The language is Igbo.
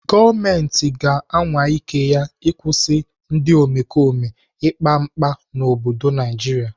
Gọọmenti ga-anwa ike ya ịkwụsị ndị omekome ikpa mkpa mkpa n'obodo Naijiria.